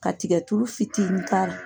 Ka tigɛ tulu fitini k'a ra.